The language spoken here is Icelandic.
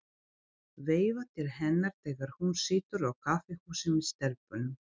Veifa til hennar þegar hún situr á kaffihúsi með stelpunum.